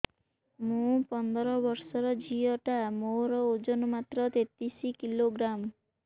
ମୁ ପନ୍ଦର ବର୍ଷ ର ଝିଅ ଟା ମୋର ଓଜନ ମାତ୍ର ତେତିଶ କିଲୋଗ୍ରାମ